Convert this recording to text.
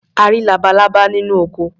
A rí labalábá nínú oko.